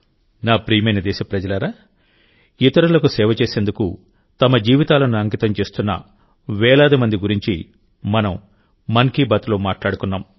నా ప్రియమైన దేశప్రజలారాఇతరులకు సేవ చేసేందుకు తమ జీవితాలను అంకితం చేస్తున్న వేలాది మంది గురించి మనం మన్ కీ బాత్లో మాట్లాడుకున్నాం